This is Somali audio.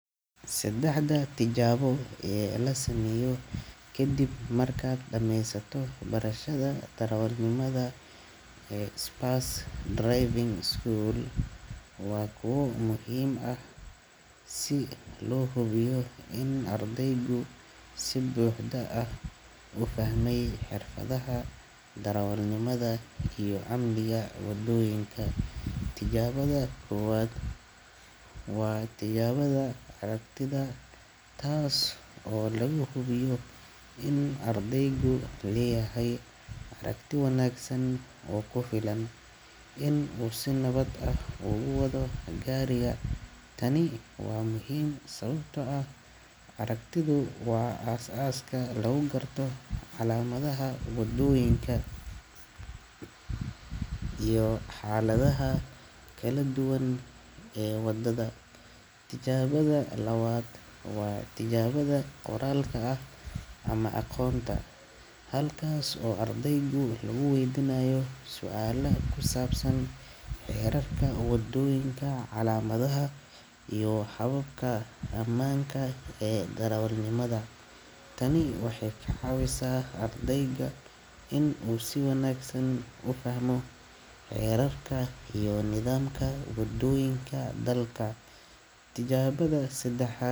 Saddexda tijaabo ee la sameeyo kadib markaad dhameysato waxbarashada darawalnimada spurs driving school waa kuwa muhiim aah si loo hubiyo in ardaygu si buuxda ah u fahmey xirfadaha darawal nimada iyo amniga wadoyinka wa tijaabada aragtida taas oo laga hubiyo in uu ardaygu leyahay aragti wanagsan oo kufilan in uu si nabad ah oo gu wado gariga taani wa muhiim sababtoo ah araagtidu wa as aska lugu garto calamadaha wadooyinka iyo xalada ha kala duwan ee wadada tijaabada labaad wa tijaabada qoraal kaa ah ama aqonta xalkas ayu ardaygu lugu weydinayo suala kusabsab hererka wadoyinka calamadaha iyo hababka amanka ee darawalnimada taani wahay kacawisa ardayga in uu si wanagsan ufahmo hererka iyo nidhamka wadoyinka ee dalka tijaabada seddaxad.